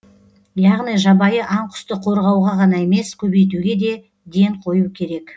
яғни жабайы аң құсты қорғауға ғана емес көбейтуге де ден қою керек